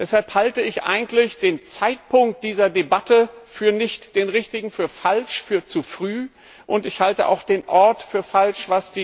Deshalb halte ich eigentlich den Zeitpunkt dieser Debatte nicht für den richtigen, für falsch, für zu früh, und ich halte auch den Ort für falsch.